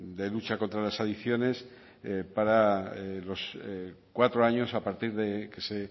de lucha contra las adicciones para los cuatro años a partir de que se